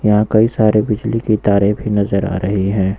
यहां कई सारे बिजली के तारे भी नजर आ रही है।